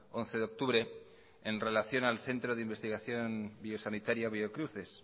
once de octubre en relación al centro de investigación sanitaria biocruces